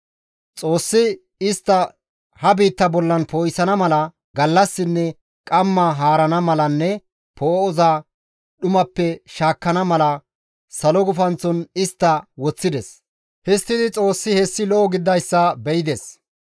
Xoossi istta ha biitta bollan poo7isana mala, gallassinne qamma haarana malanne poo7oza dhumappe shaakkana mala, salo gufanththon istta woththides. Histtidi Xoossi hessi lo7o gididayssa be7ides.